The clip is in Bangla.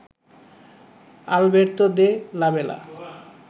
Alberto de la Bela